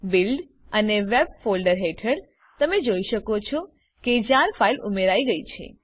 build અને web folder હેઠળ તમે જોઈ શકો છો કે જાર ફાઈલ ઉમેરાઈ ગયી છે